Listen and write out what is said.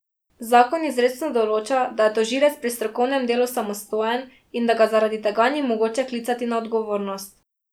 Zakon izrecno določa, da je tožilec pri strokovnem delu samostojen in da ga zaradi tega ni mogoče klicati na odgovornost.